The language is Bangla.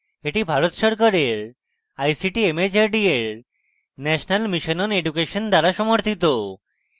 এটি ভারত সরকারের ict mhrd এর national mission on education দ্বারা সমর্থিত